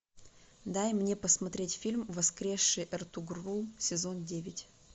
дай мне посмотреть фильм воскресший эртугрул сезон девять